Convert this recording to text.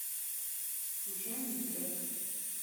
случайный трек